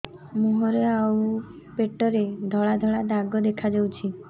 ମୁହଁରେ ଆଉ ପେଟରେ ଧଳା ଧଳା ଦାଗ ଦେଖାଯାଉଛି